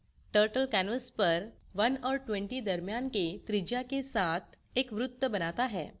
turtle canvas पर 1 और 20 दरम्यान के त्रिज्या के साथ एक वृत्त बनाता है